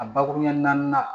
A bakuruɲɛ naani